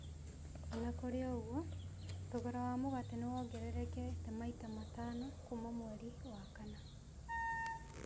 O na kũrĩ ũguo, thogora wa mũgate nĩ wongererekete maita matano kuuma mweri wa kana.